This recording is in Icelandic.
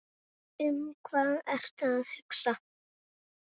Um hvað ertu að hugsa?